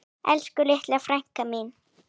Elsku litla frænka mín.